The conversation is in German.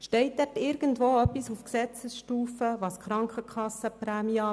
Steht dort irgendetwas auf Gesetzesstufe zu den Krankenkassenprämien?